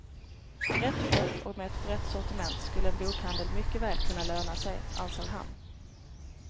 Rätt skött och med ett brett sortiment skulle en bokhandel mycket väl kunna löna sig, ansåg han.